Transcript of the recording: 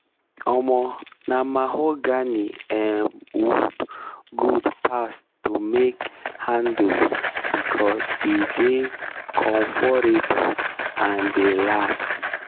um na mahogany um wood good pass to make handless becos e dey conforable and dey last. um